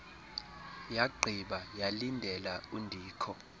yagqiba yalindela undikho